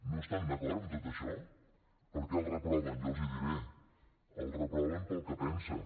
no estan d’acord en tot això per què el reproven jo els ho diré el reproven pel que pensa